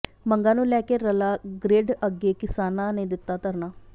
ਮੰਗਾਂ ਨੂੰ ਲੈ ਕੇ ਰੱਲਾ ਗਰਿੱਡ ਅੱਗੇ ਕਿਸਾਨਾਂ ਨੇ ਦਿੱਤਾ ਧਰਨਾ